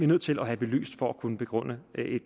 nødt til at have belyst for at kunne begrunde